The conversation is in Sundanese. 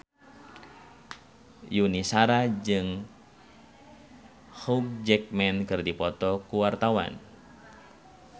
Yuni Shara jeung Hugh Jackman keur dipoto ku wartawan